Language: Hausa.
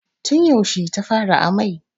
Tun yaushe ta fara amai?